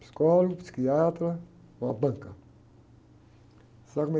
Psicólogo, psiquiatra, uma banca. Sabe como é